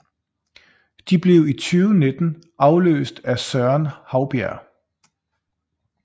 De blev i 2019 afløst af Søren Haubjerg